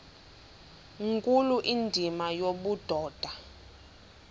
nkulu indima yobudoda